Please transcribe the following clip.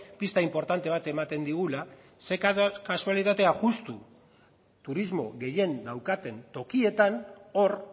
pista inportante bat ematen digula ze kasualitatea justu turismo gehien daukaten tokietan hor